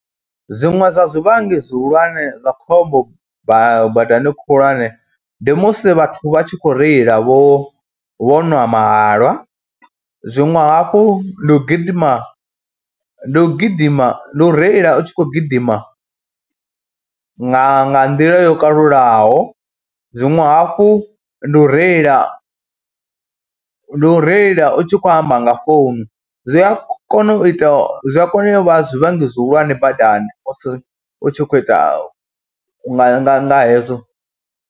Zwiṅwe zwa zwivhangi zwihulwanesa zwa khombo badani khulwane ndi musi vhathu vha tshi khou reila vho vho nwa mahalwa, zwiṅwe hafhu ndi u gidima, ndi u gidima, ndi u reila u tshi khou gidima nga nḓila yo kalulaho. Zwiṅwe hafhu ndi u reila, ndi u reila u tshi khou amba nga founu zwi a kona u ita, zwi a kona u vha zwivhangi zwihulwane badani musi u tshi khou ita, nga nga nga hezwo.